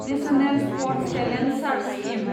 national sports talent search scheme